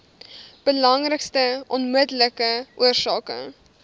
belangrikste onmiddellike oorsake